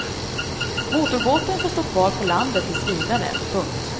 Motorbåten får stå kvar på land tills vidare. punkt